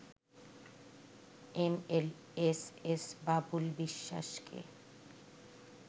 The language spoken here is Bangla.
এমএলএসএস বাবুল বিশ্বাসকে